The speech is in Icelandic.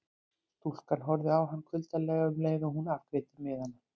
Stúlkan horfði á hann kuldalega um leið og hún afgreiddi miðana.